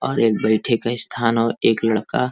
और एक बैठे के स्थान और एक लड़का --